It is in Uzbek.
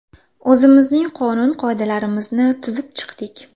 O‘zimizning qonun-qoidalarimizni tuzib chiqdik.